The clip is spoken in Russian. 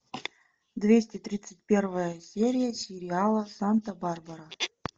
двести тридцать первая серия сериала санта барбара